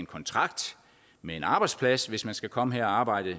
kontrakt med en arbejdsplads hvis man skal komme her og arbejde